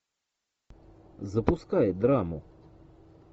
запускай драму